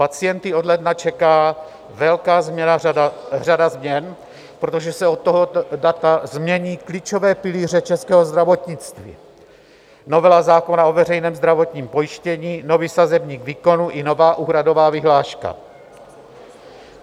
Pacienty od ledna čeká velká řada změn, protože se od tohoto data změní klíčové pilíře českého zdravotnictví: novela zákona o veřejném zdravotním pojištění, nový sazebník výkonů i nová úhradová vyhláška.